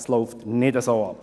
So läuft es nicht ab.